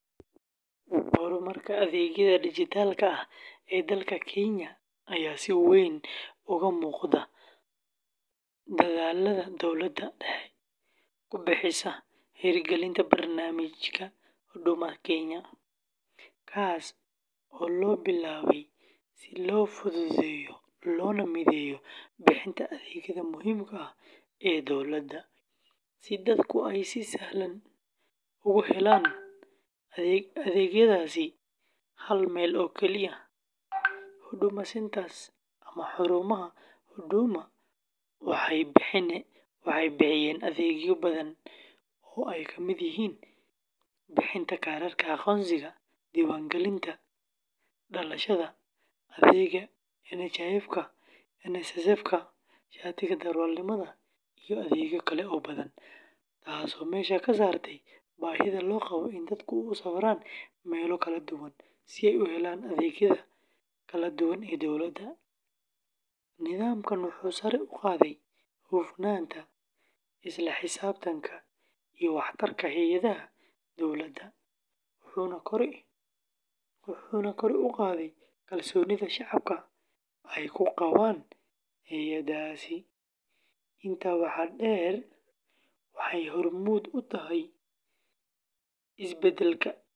Horumarka adeegyada dijitaalka ah ee dalka Kenya ayaa si weyn uga muuqda dadaallada dowladda dhexe ku bixisay hirgelinta barnaamijka Huduma Kenya, kaas oo la bilaabay si loo fududeeyo loona mideeyo bixinta adeegyada muhiimka ah ee dowladda, si dadku ay si sahlan ugu helaan adeegyadaasi hal meel oo keliya. Huduma Centres ama xarumaha Huduma waxay bixiyaan adeegyo badan oo ay ka mid yihiin bixinta kaararka aqoonsiga, diiwaangelinta dhalashada, adeega NHIFka, NSSFka, shatiga darawalnimada, iyo adeegyo kale oo badan, taasoo meesha ka saartay baahida loo qabo in dadku u safraan meelo kala duwan si ay u helaan adeegyada kala duwan ee dowladda. Nidaamkan wuxuu sare u qaaday hufnaanta, isla xisaabtanka, iyo waxtarka hay’adaha dowladda, wuxuuna kor u qaaday kalsoonida shacabka ay ku qabaan hay’adahaasi. Intaa waxaa dheer, waxay hormuud u tahay isbeddelka dijitaalka.